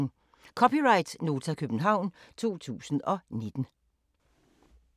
(c) Nota, København 2019